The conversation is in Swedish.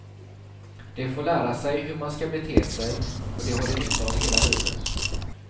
De får lära sig hur man ska bete sig och det har de nytta av hela livet.